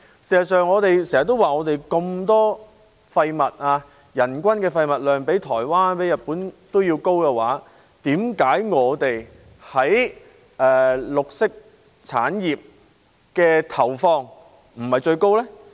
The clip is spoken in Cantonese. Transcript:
事實上，我們經常說，我們有這麼多廢物，人均廢物量比日本和台灣還要高，為何我們在綠色產業的投放卻不是最高？